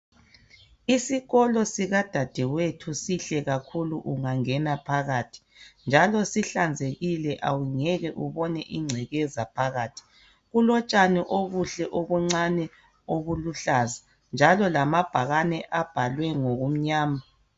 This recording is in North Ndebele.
Isikolo sikadadewethu sihle kakhulu ungangena phakathi njalo sihlanzekile awungeke ubone incekeza phakathi kulotshani obuhle obuncane obuluhlaza njalo lamabhakane abhalwe ngokumnyama.